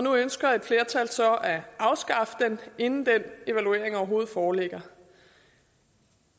nu ønsker et flertal så at afskaffe den inden den evaluering overhovedet foreligger